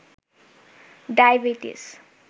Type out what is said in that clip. diabetes